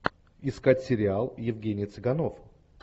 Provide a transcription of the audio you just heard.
искать сериал евгений цыганов